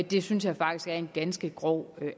det synes jeg faktisk er en ganske grov